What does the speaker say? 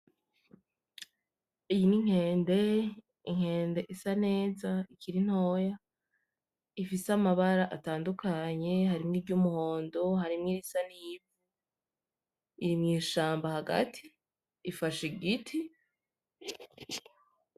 Iyi ni nkende, inkende isa neza ikiri ntoya, ifise amabara atandukanye harimwo iry'umuhondo, harimwo irisa n'ivu, iri mwishaba hagati, ifashe igiti.